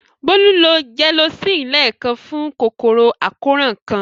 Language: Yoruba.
Bólú lo Gelocin lẹ́ẹ̀kan fún kòkòrò àkóràn kan.